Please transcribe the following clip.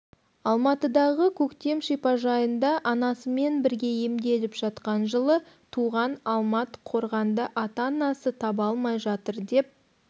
алматыдағы көктем шипажайында анасымен бірге емделіп жатқан жылы туған алмат қорғанды ата-анасы таба алмай жатыр деп